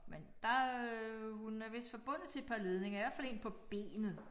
Men der øh hun er vist forbundet til et par ledninger i hvert fald 1 på benet